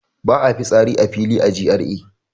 Ba a fitsari a fili a GRA